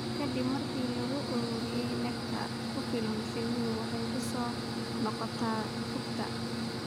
Ka dib markii la ururiyo nectar ku filan, shinnidu waxay ku soo noqotaa rugta.